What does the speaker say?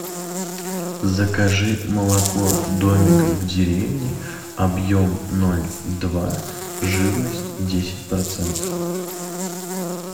закажи молоко домик в деревне объем ноль два жирность десять процентов